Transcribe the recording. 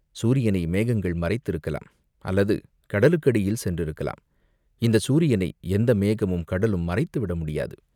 "சூரியனை மேகங்கள் மறைத்திருக்கலாம், அல்லது கடலுக்கடியில் சென்றிருக்கலாம்." "இந்தச் சூரியனை எந்த மேகமும், கடலும் மறைத்து விட முடியாது.